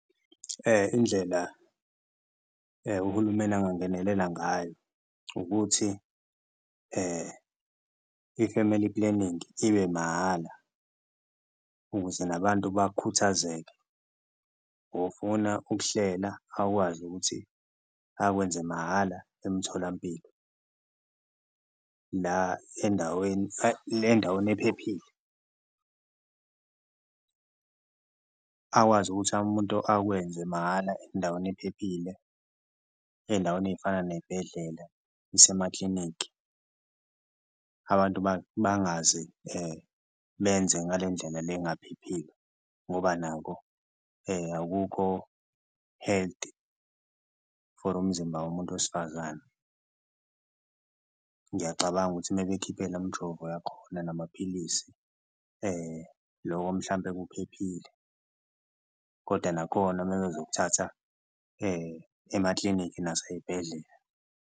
Indlela uhulumeni angangenelela ngayo ukuthi i-family planning ibe mahhala ukuze nabantu bakhuthazeke, ofuna ukuhlela akwazi ukuthi akwenze mahhala emtholampilo la endaweni le ndaweni ephephile akwazi ukuthi umuntu akwenze mahhala endaweni ephephile endaweni ey'fana ney'bhedlela, isemaklinikhi. Abantu bangaze benze ngale ndlela le engaphephile ngoba nako akukho healthy for umzimba womuntu wesifazane, ngiyacabanga ukuthi uma bekhiphe lo mjovo yakhona namaphilisi loko mhlampe kuphephile, koda nakhona uma bezokuthatha emaklinikhi nasey'bhedlela.